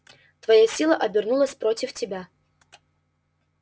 твоя сила обернулась против тебя